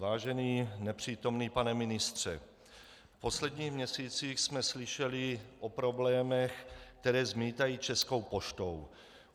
Vážený nepřítomný pane ministře, v posledních měsících jsme slyšeli o problémech, které zmítají Českou poštou.